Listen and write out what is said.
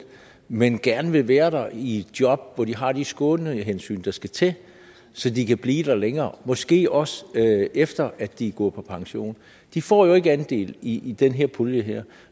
men gerne vil være der i et job hvor de har de skånehensyn der skal til så de kan blive længere og måske også efter at de er gået på pension de får jo ikke andel i den her pulje